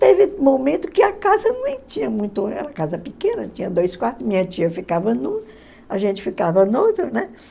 Teve momento que a casa nem tinha muito, era casa pequena, tinha dois quartos, minha tia ficava num, a gente ficava no outro, né?